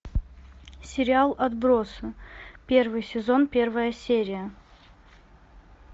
сериал отбросы первый сезон первая серия